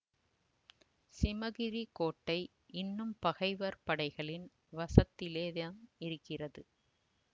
சிமகிரிக் கோட்டை இன்னும் பகைவர் படைகளின் வசத்திலே தான் இருக்கிறது